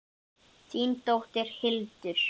Þín dóttir, Hildur.